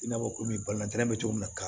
I n'a fɔ komi balantan bɛ cogo min na ka